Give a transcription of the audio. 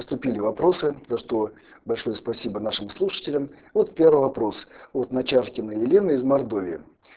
поступили вопросы за что большое спасибо нашим слушателям вот первый вопрос от начаркина елена из мордовии